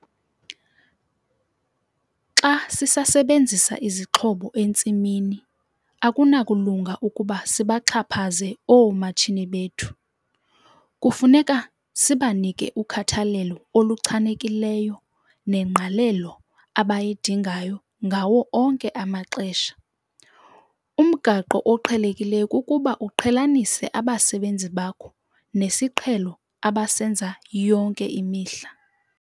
Xa sisasebenzisa izixhobo entsimini, akunakulunga ukuba sibaxhaphaze oomatshini bethu. Kufuneka sibanike ukhathalelo oluchanekileyo nengqalelo abayidingayo ngawo onke amaxesha. Umgaqo oqhelekileyo kukuba uqhelanise abasebenzi bakho nesiqhelo abasenza yonke imihla.